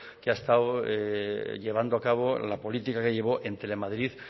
que ha estado llevando acabo la política que llevó entre madrid